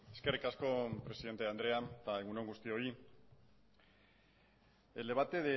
eskerrik asko presidente andrea eta egun on guztioi el debate